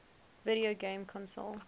video game console